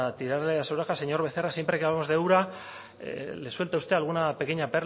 tirarle de las orejas señor becerra siempre que hablamos de ura le suelta usted alguna pequeña